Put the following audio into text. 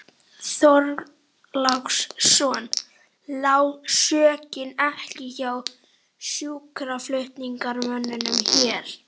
Björn Þorláksson: Lá sökin ekki hjá sjúkraflutningamönnum hér?